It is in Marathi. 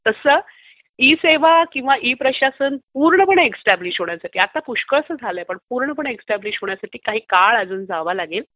तसं ई सेवा किंवा ई प्रशासन पुर्णपणे एस्ट्यब्लिश होण्यासाठी... पुष्कळ झालेल आहे पण पुर्णपणे होण्यासाठी काही काळ अजून जावा लागेल.